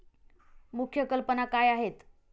मुख्य कल्पना काय आहेत?